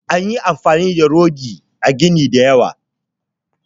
An yi amfani da rodi a ginin da yawa